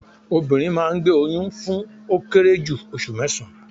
Obìnrin máa ngbé oyún fún ó kéré jù osù mésán-án